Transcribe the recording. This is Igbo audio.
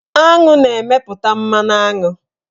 Aṅụ na-emeputa mmanụaṅụ.